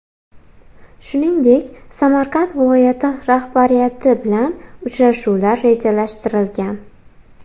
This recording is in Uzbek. Shuningdek, Samarqand viloyati rahbariyati bilan uchrashuvlar rejalashtirilgan.